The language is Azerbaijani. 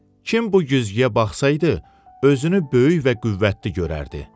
Kim bu güzgüyə baxsaydı, özünü böyük və qüvvətli görərdi.